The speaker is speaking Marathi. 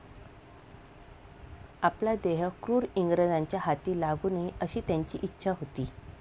आपला देह क्रूर इंग्रजांच्या हाती लागू नये अशी त्यांची इच्छा होती.